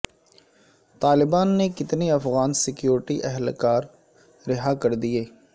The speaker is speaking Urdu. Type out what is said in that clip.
طالبان نے کتنے افغان سکیورٹی اہلکار رہا کر دیے